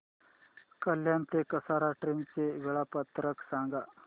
कल्याण ते कसारा ट्रेन चे वेळापत्रक सांगा